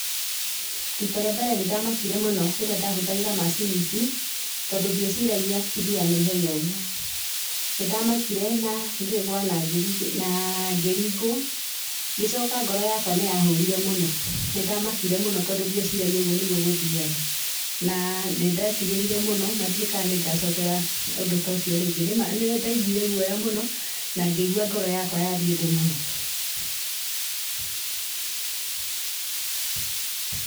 Rita rĩa mbere nĩ ndamakire mũno rĩrĩa ndahũthagĩra macini ici, tondũ ndieciragia cithiaga na ihenya ũguo. Nĩ ndamakire na ngĩgwa na ngĩringwo. Ngĩcoka ngoro yakwa nĩ ya hũrire mũno, nĩ ndamakire mũno tondũ ndiĩciragia ũguo nĩguo gũthiaga, na nĩndetigĩrire mũno, na ndiũĩ ka nĩ ngacokera ũndũ tũcio rĩngĩ. Nĩ ma nĩ ndaiguire guoya mũno, na ngĩigua ngoro yakwa yathiĩ thĩ mũno.